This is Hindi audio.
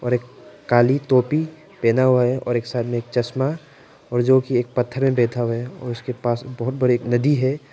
और एक काली टोपी पहना हुआ है और एक साथ में एक चश्मा और जो कि एक पत्थर में बैठा हुआ है और उसके पास बहुत बड़ी एक नदी है।